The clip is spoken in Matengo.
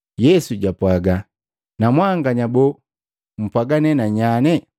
Yesu jwapwaga, “Na mwanganya boo, mpwaga nee na nyanye?”